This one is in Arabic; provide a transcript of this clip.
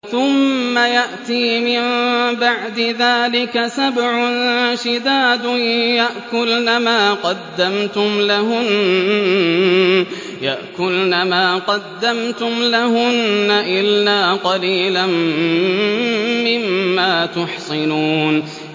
ثُمَّ يَأْتِي مِن بَعْدِ ذَٰلِكَ سَبْعٌ شِدَادٌ يَأْكُلْنَ مَا قَدَّمْتُمْ لَهُنَّ إِلَّا قَلِيلًا مِّمَّا تُحْصِنُونَ